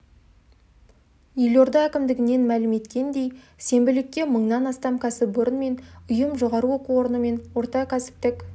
елорда әкімдігінен мәлім еткендей сенбілікке мыңнан астам кәсіпорын мен ұйым жоғары оқу орны мен орта кәсіптік